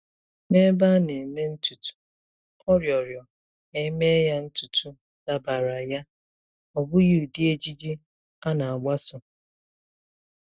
N'ebe a na-eme ntutu, ọ rịọrọ ka e mee ya ntutu dabara ya, ọ bụghị ụdị ejiji a na-agbaso.